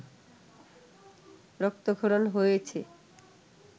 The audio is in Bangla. রক্তক্ষরণ হয়েছে